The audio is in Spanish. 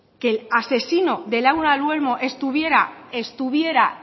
que el asesino de laura luelmo estuviera